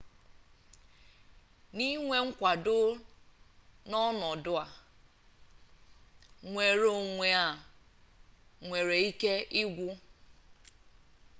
n'inwe mkwado a n'ọnọdụ nnwereonwe a nwere ike ịgwụ